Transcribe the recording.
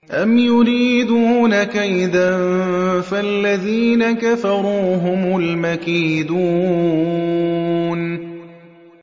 أَمْ يُرِيدُونَ كَيْدًا ۖ فَالَّذِينَ كَفَرُوا هُمُ الْمَكِيدُونَ